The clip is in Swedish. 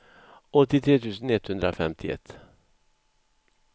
åttiotre tusen etthundrafemtioett